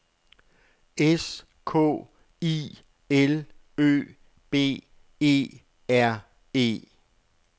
S K I L Ø B E R E